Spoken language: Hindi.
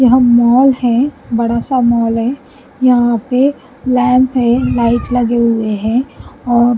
यहाँ मॉल है बड़ा सा मॉल है यहाँ पे लैंप है लाइट लगे हुए हैं और --